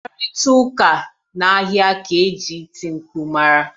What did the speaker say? Mkparịta ụka n'ahịa ka e ji iti mkpu mara